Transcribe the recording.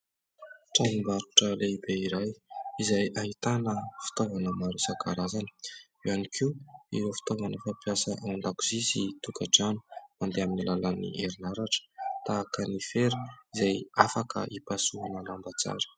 Tranom-barotra lehibe iray izay ahitana fitaovana maro isankarazany, eo ihany koa ireo fitaovana fampiasa ao an-dakozia sy tokantrano mandeha amin'ny alalan'ny herinaratra tahaka ny fera izay afaka hipasohana lamba tsara.